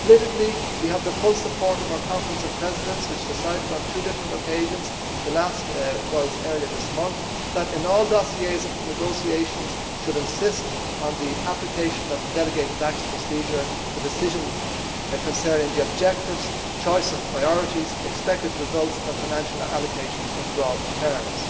Politically, we have the full support of our Conference of Presidents, which decided on two different occasions most recently earlier this month that in all dossiers negotiators should insist on the application of the delegated acts procedure for decisions concerning objectives, the choice of priorities, expected results and financial allocations in broad terms.